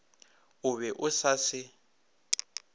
o be o sa se